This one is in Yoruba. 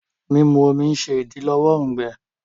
Mímú omí ṣe idilọwọ òùngbẹ.